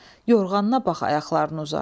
Yorğanına bax ayaqlarını uzat.